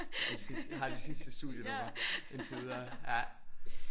Præcis. Jeg har det sidste studienummer indtil videre